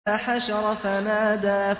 فَحَشَرَ فَنَادَىٰ